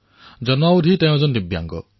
তেওঁ জন্মৰ পৰাই দিব্যাংগ